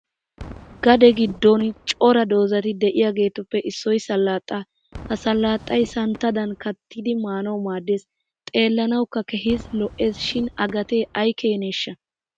Gade giddon cora doozati diyageetuppe issoy salaaxaa. Ha salaaxay santtadan kanttidi maanawu maaddes. Xeellanawukka keehi lo'es shin a gatee ayi keeneeshaha?